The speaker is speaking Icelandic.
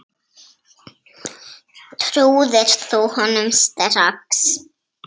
Trúðir þú honum strax?